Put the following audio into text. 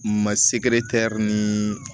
Ma segere tɛri ni